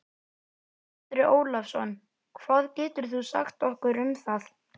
Andri Ólafsson: Hvað getur þú sagt okkur um það?